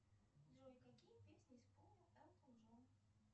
джой какие песни исполнил элтон джон